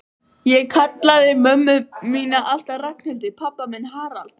Ég kallaði mömmu mína alltaf Ragnhildi, pabba minn Harald.